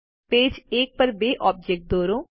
page એક પર બે ઓબ્જેક્ટો દોરો